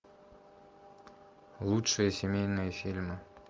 лучшие семейные фильмы